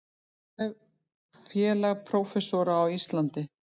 Félag prófessora á Íslandi.